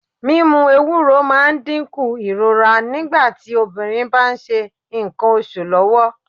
Mímú Ewúro máa ń dínkù ìrora nígbà tí obìnrin bá ń ṣe ńkan oṣù lọ́wọ́.